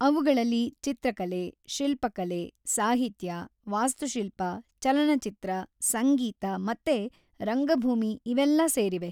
ಅವ್ಗಳಲ್ಲಿ ಚಿತ್ರಕಲೆ, ಶಿಲ್ಪಕಲೆ, ಸಾಹಿತ್ಯ, ವಾಸ್ತುಶಿಲ್ಪ, ಚಲನಚಿತ್ರ, ಸಂಗೀತ ಮತ್ತೆ ರಂಗಭೂಮಿ ಇವೆಲ್ಲ ಸೇರಿವೆ.